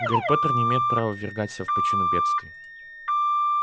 гарри поттер не имеет права ввергаться в пучину бедствий